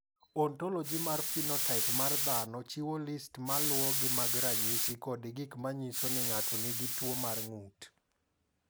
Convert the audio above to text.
"Ontology mar phenotaip mar dhano chiwo list ma luwogi mag ranyisi kod gik ma nyiso ni ng’ato nigi tuwo mar ng’ut."